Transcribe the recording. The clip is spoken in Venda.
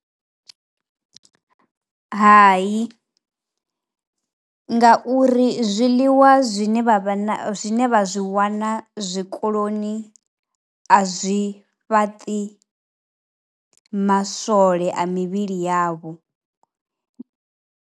Hai ngauri zwiḽiwa zwine vha zwi vha vha zwi wana zwikoloni a zwi fhaṱi maswole a mivhili yavho.